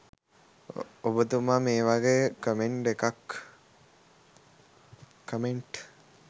ඔබතුමා මේ වගේ කමෙන්ට් එකක්